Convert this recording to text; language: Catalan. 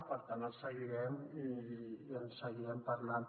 per tant el seguirem i en seguirem parlant